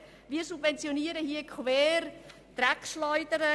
Wir subventionieren hier also Dreckschleudern.